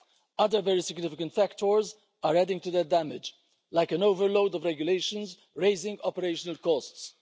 Other very significant factors are adding to the damage, like an overload of regulations raising operational costs.